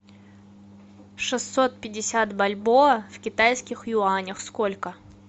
шестьсот пятьдесят бальбоа в китайских юанях сколько